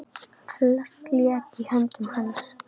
Flest lék í höndum hans.